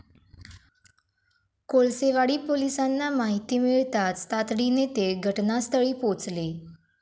कोळसेवाडी पोलिसांना माहिती मिळताच तातडीने ते घटनास्थळी पोहचले.